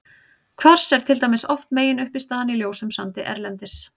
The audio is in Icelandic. Kvars er til dæmis oft meginuppistaðan í ljósum sandi erlendis.